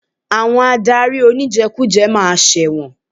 Àwọn adarí oníjẹkújẹ ma ṣẹ̀wọ̀n.